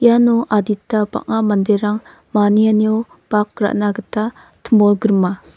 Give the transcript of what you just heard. iano adita bang·a manderang manianio bak ra·na gita timolgrima.